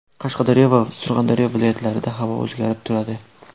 Qashqadaryo va Surxondaryo viloyatlarida havo o‘zgarib turadi.